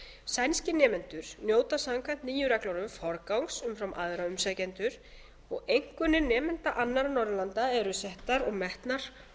sænskir nemendur njóta samkvæmt nýju reglunum forgangs umfram aðra umsækjendur og einkunnir nemenda annarra norðurlanda eru settar og metnar